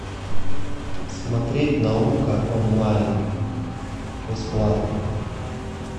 смотреть наука онлайн бесплатно